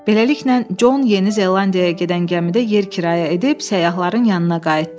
Beləliklə, Con Yeni Zelandiyaya gedən gəmidə yer kirayə edib səyyahların yanına qayıtdı.